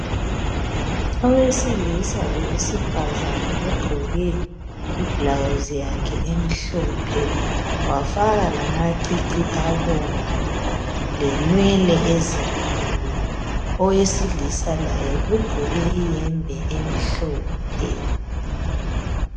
Owesilisa lowesifazana ogqoke iblouse yakhe emhlophe wafaka lamacici abomvu lenwele ezinkulu. Owesilisa laye ugqoke iyembe emhlophe